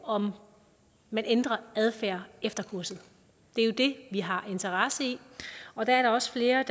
om man ændrer adfærd efter kurset det er jo det vi har en interesse i og der er også flere af